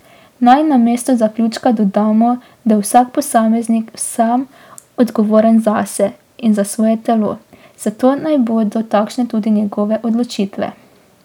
Naj namesto zaključka dodamo, da je vsak posameznik sam odgovoren zase in za svoje telo, zato naj bodo takšne tudi njegove odločitve.